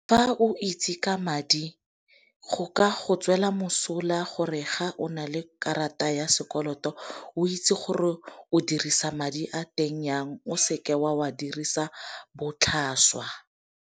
Fa o itse ka madi, go ka go tswela mosola gore ga o na le karata ya sekoloto o itse gore o dirisa madi a teng yang. O seke o a dirisa botlhaswa.